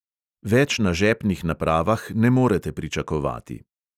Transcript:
Več na žepnih napravah ne morete pričakovati.